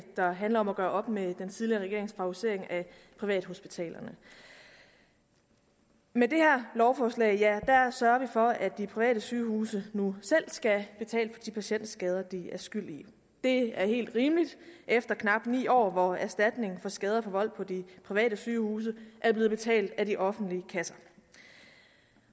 der handler om at gøre op med den tidligere regerings favorisering af privathospitalerne med det her lovforslag sørger vi for at de private sygehuse nu selv skal betale for de patientskader de er skyld i det er helt rimeligt efter knap ni år hvor erstatning for skader forvoldt på de private sygehuse er blevet betalt af de offentlige kasser